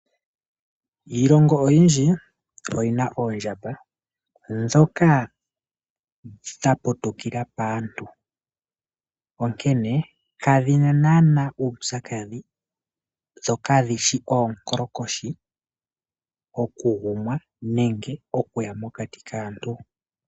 Iilongo oyindji oyina oondjamba. Dhoka dha putukila paantu. Onkene kadhina nanaa uupyakadhi dho kadhishi oonkolokoshi oku gumwa nenge okuya mokati kaantu.